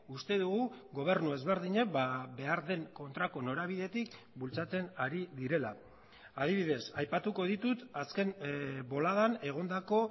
uste dugu gobernu ezberdinek behar den kontrako norabidetik bultzatzen ari direla adibidez aipatuko ditut azken boladan egondako